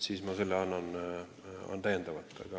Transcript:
Selle vastuse saadan täiendavalt.